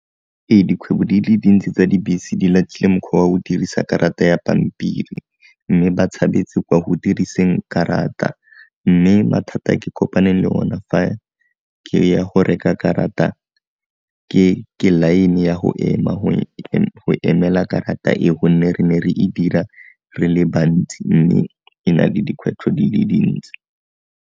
Ee, dikgwebo di le dintsi tsa dibese di latlhile mokgwa wa go dirisa karata ya pampiri, mme ba tshabetse kwa go diriseng karata, mme mathata a ke kopaneng le ona fa ke ya go reka karata ke line ya go ema go emela karata e gonne re ne re e dira re le bantsi mme e na le dikgwetlho di le dintsi.